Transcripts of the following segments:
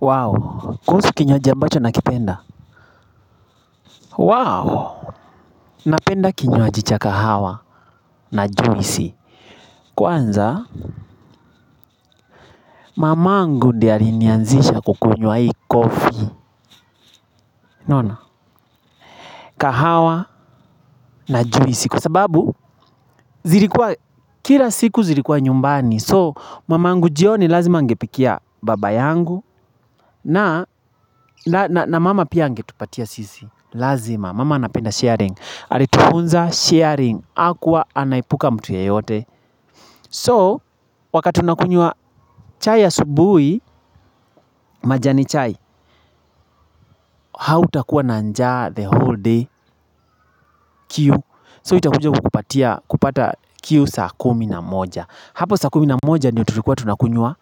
Wow, kuhusu kinywaji ambacho na kipenda Wow, napenda kinywaji cha kahawa na juisi Kwanza, mamangu ndiye alinianzisha kukunywa hii coffee kahawa na juisi Kwa sababu, kila siku zilikuwa nyumbani So, mamangu jioni lazima angepikia baba yangu na mama pia angetupatia sisi Lazima, mama anapenda sharing Halitufunza sharing akuwa anaepuka mtu ye yote So wakati unakunywa chai asubui majani chai hau takuwa nanjaa the whole day kiu So itakunja kupata kiu saa kumi na moja Hapo saa kumi na moja Ndiyo turikuwa tunakunywa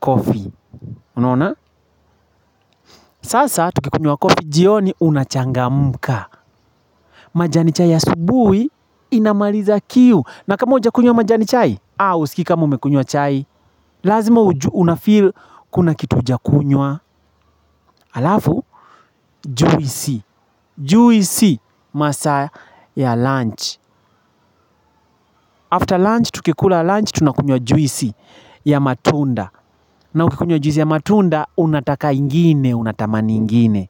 coffee Unaona? Sasa tukikunywa coffee jioni unachanga mka majani chai ya asubui Inamaliza kiu na kama uja kunywa majani chai A usikii kama ume kunywa chai Lazima unafeel kuna kitu huja kunywa alafu juisi, juisi masaa ya lunch After lunch tukikula lunch tunakunywa juisi ya matunda na ukikunywa juisi ya matunda unataka ingine, unatamani ingine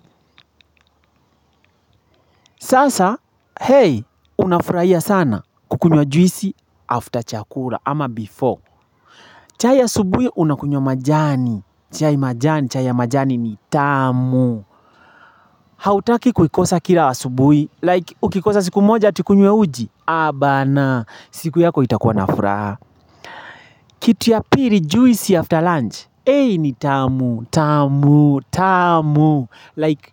Sasa, hey, unafurahia sana kukunywa juisi after chakula ama before chai asubui unakunywa majani, chai majani, chai ya majani ni tamu Hautaki kuikosa kila asubui Like ukikosa siku moja ati ukunywe uji Abana siku yako itakuwa nafraha Kitu ya piri juisi after lunch Ei ni tamu tamu tamu Like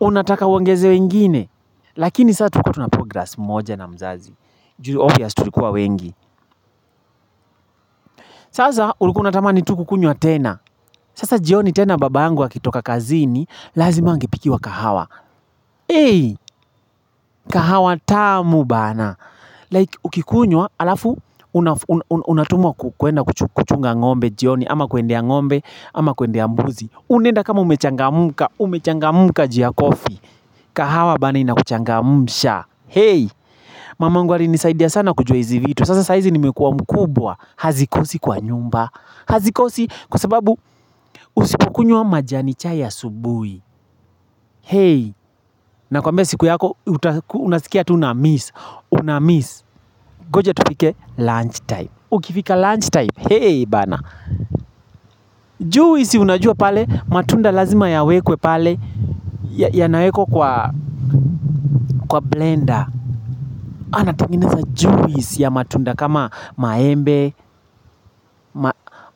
unataka uongezewe ingine Lakini saa tulikuwa na progress moja na mzazi juu obvious tulikuwa wengi Sasa ulikuwa unatamani tu kukunywa tena Sasa jioni tena babangu akitoka kazini Lazima angepiki wa kahawa Ei kahawa tamu bana Like ukikunywa alafu unatumwa kuenda kuchunga ng'ombe jioni ama kuendea ng'ombe ama kuendea mbuzi Unaenda kama umechanga mka umechanga mka juu ya coffee kahawa bana inakuchanga msha Hey mamangu wali nisaidia sana kujua hizi vitu sasa saizi nimekuwa mkubwa hazikosi kwa nyumba Hazikosi kwa sababu usipokunywa majani chai asubui Hey na kwambia siku yako unasikia tu na miss Unamiss Goja tupike lunch time Ukifika lunch time Hey bana juice unajua pale matunda lazima ya wekwe pale ya nawekwa kwa blender Anatengeneza juice ya matunda kama maembe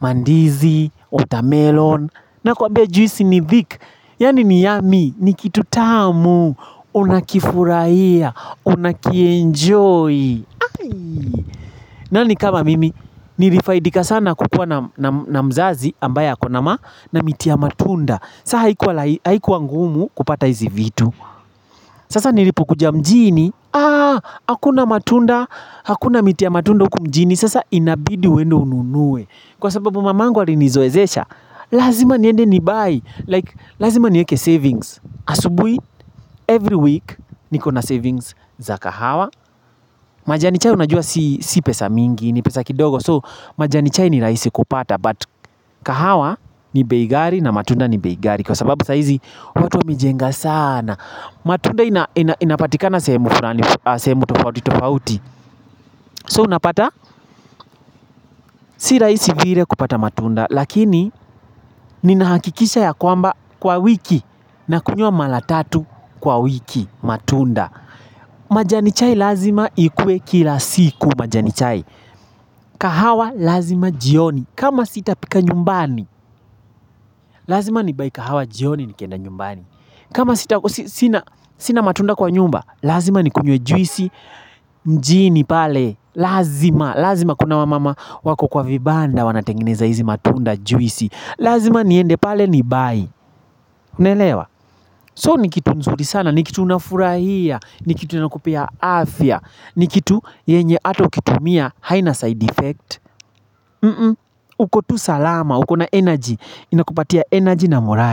mandizi watermelon na kuambia juice ni thick Yani ni yummy ni kitu tamu Unakifurahia Unakienjoy nani kama mimi Nilifaidika sana kukua na mzazi ambaye akona ma na miti ya matunda Saha haikuwa ngumu kupata hizi vitu Sasa nilipo kuja mjini Ah, hakuna matunda Hakuna miti ya matunda hukumjini Sasa inabidi uende ununue Kwa sababu mamangu alinizoezesha Lazima niende nibuy Lazima nieke savings Asubui, every week niko na savings za kahawa majani chai unajua si pesa mingi ni pesa kidogo so majani chai ni raisi kupata but kahawa ni beigari na matunda ni beigari kwa sababu saizi watu wa mejenga sana matunda inapatika na sehemu tofauti tofauti so unapata si raisi vire kupata matunda lakini ninahakikisha ya kwamba kwa wiki na kunywa malatatu kwa wiki matunda majani chai lazima ikuwe kila siku majani chai kahawa lazima jioni kama sitapika nyumbani Lazima nibuy ka hawa jioni nikienda nyumbani kama sitako sina matunda kwa nyumba Lazima nikunywe juisi mjini pale Lazima, lazima kuna wamama wako kwa vibanda Wanatengeneza hizi matunda juisi Lazima niende pale nibuy Unaelewa So ni kitu nzuri sana, ni kitu unafurahia ni kitu inakupea afya ni kitu yenye ata ukitumia haina side effect Ukotu salama, ukona energy Inakupatia energy na moral.